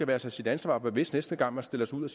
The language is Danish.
være sig sit ansvar bevidst næste gang man stiller sig ud og